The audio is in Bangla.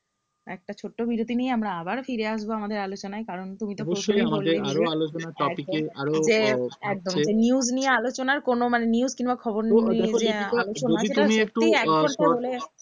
একটা ছোট্ট বিরতি নিয়ে আমরা আবারও ফিরে আসবো আমাদের আলোচনায় কারণ তুমি তো অবশ্যই আরো আলোচনার topic এ একদম news নিয়ে আলোচনার কোনো মানে news কিংবা খবর নিয়ে